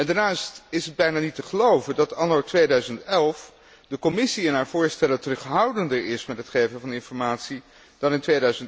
leven. Daarnaast is het bijna niet te geloven dat anno 2011 de Commissie in haar voorstellen terughoudender is met het geven van informatie dan